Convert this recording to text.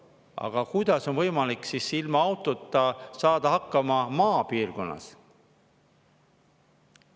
Aga kuidas on siis võimalik ilma autota saada hakkama maapiirkonnas?